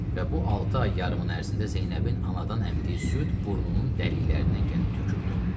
Və bu altı ay yarımın ərzində Zeynəbin anadan əmdiyi süd burnunun dəlilərindən gəlib töküldü.